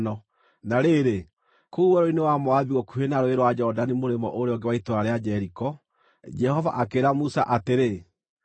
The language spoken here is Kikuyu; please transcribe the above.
Na rĩrĩ, kũu werũ-inĩ wa Moabi gũkuhĩ na Rũũĩ rwa Jorodani mũrĩmo ũrĩa ũngĩ wa itũũra rĩa Jeriko, Jehova akĩĩra Musa atĩrĩ,